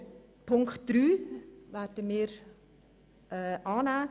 Auch Ziffer 3 werden wir annehmen.